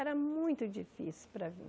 Era muito difícil para vir.